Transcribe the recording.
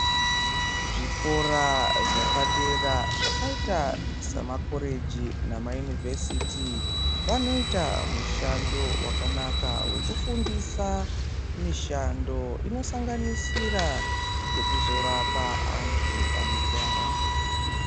Zvikora zvapadera zvakaita samakoreji namayunivhesiti vanoita mushando wakanaka wekufundisa mishando inosanganisira yekuzorapa antu anorwara.